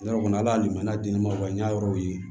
Yɔrɔ kɔni ala lemu an di ne ma n y'a yɔrɔw ye